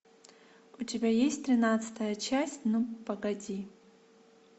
у тебя есть тринадцатая часть ну погоди